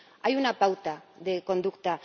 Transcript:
Hay una pauta de conducta.